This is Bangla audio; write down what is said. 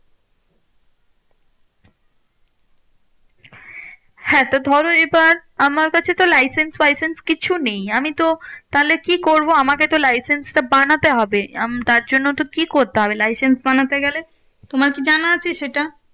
হ্যাঁ তো ধরো এইবার আমার কাছে তো licence ফাইসেন্স কিচ্ছু নেই। আমিতো তাহলে কি করবো? আমাকে তো licence টা বানাতে হবে তার জন্য তো কি করতে হবে? licence বানাতে গেলে? তোমার কি জানা আছে সেটা?